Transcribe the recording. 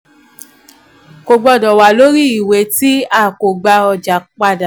kò gbọdọ wà lórí iwe tí a ko gba ọja padà.